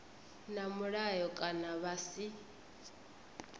na mulayo kana vha si